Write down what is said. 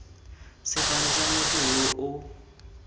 sefane sa motho yo o